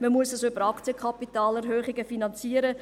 Man muss es über Aktienkapitalerhöhungen finanzieren.